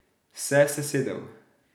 Se sesedel.